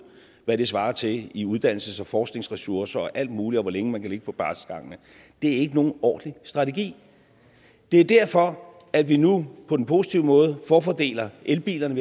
hvad det svarer til i uddannelses og forskningsressourcer og alt muligt og hvor længe man kan ligge på barselsgangene det er ikke nogen ordentlig strategi det er derfor at vi nu på den positive måde forfordeler elbilerne